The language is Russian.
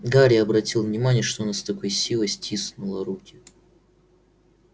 гарри обратил внимание что она с такой силой стиснула руки